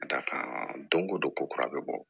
Ka d'a kan don o don ko kura bɛ bɔ